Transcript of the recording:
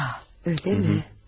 Ya, eləmi?